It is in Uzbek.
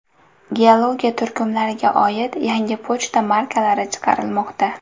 Geologiya” turkumlariga oid yangi pochta markalari chiqarilmoqda.